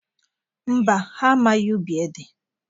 Mba, ha amaghị ubi ede.